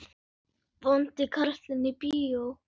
Vondi karlinn í bíó?